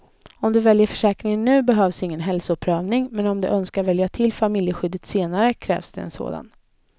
Om du väljer försäkringen nu behövs ingen hälsoprövning, men om du önskar välja till familjeskyddet senare krävs det en sådan.